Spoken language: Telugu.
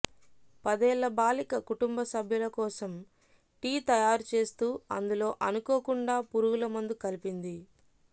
పదేళ్ళ బాలిక కుటుంబసభ్యుల కోసం టీ తయారుచేస్తూ అందులో అనుకోకుండా పురుగుల మందు కలిపింది